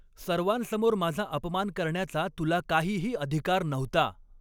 सर्वांसमोर माझा अपमान करण्याचा तुला काहीही अधिकार नव्हता.